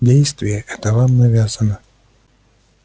действие это вам навязано